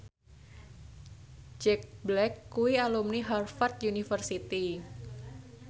Jack Black kuwi alumni Harvard university